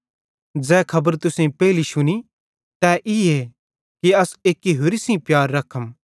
ज़ै खबर तुसेईं पेइली शुनी तै ईए कि अस एक्की होरि सेइं प्यार रखम